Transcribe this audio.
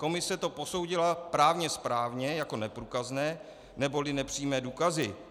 Komise to posoudila právně správně jako neprůkazné neboli nepřímé důkazy.